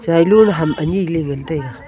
chailo ley ham ani ley nga taiga.